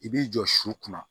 I b'i jɔ su kunna